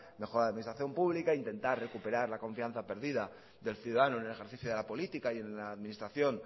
mejora de la administración pública intentar recuperar la confianza perdida del ciudadano en el ejercicio de la política y en la administración